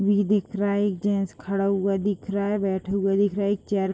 we दिख रहा है एक जेंट्स खड़ा हुआ दिख रहा है बैठा हुआ दिख रहा है एक चेयर --